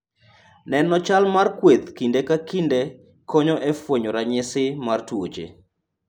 Neno chal mar kweth kinde ka kinde, konyo e fwenyo ranyisi mag tuoche.